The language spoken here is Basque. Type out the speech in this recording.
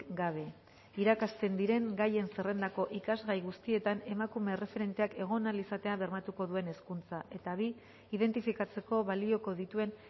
gabe irakasten diren gaien zerrendako ikasgai guztietan emakume erreferenteak egon ahal izatea bermatuko duen hezkuntza eta bi identifikatzeko balioko dituen